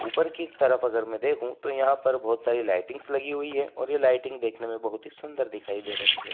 ऊपर की तरफ अगर मैं देखूं तो यहाँ पर बहुत सारी लाइटिंग्स लगी हुई है और ये लाइटिंग देखने में बहुत ही सुंदर दिखाई दे रही है।